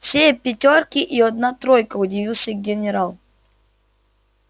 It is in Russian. все пятёрки и одна тройка удивился генерал